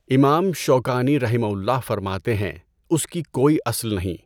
امام شوکانی رحمہ اللہ فرماتے ہین اس کی کوئی اصل نہیں۔